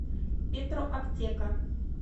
петроаптека